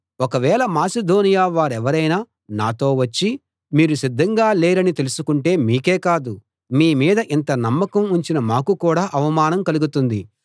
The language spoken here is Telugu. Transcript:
ఒకవేళ మాసిదోనియ వారెవరైనా నాతో వచ్చి మీరు సిద్ధంగా లేరని తెలుసుకుంటే మీకే కాదు మీ మీద ఇంత నమ్మకం ఉంచిన మాకు కూడా అవమానం కలుగుతుంది